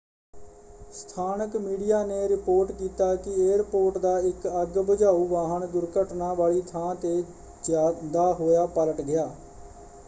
ਸਥਾਨਕ ਮੀਡੀਆ ਨੇ ਰਿਪੋਰਟ ਕੀਤਾ ਕਿ ਏਅਰਪੋਰਟ ਦਾ ਇੱਕ ਅੱਗ ਬੁਝਾਊ ਵਾਹਨ ਦੁਰਘਟਨਾ ਵਾਲੀ ਥਾਂ ‘ਤੇ ਜਾਂਦਾ ਹੋਇਆ ਪਲਟ ਗਿਆ।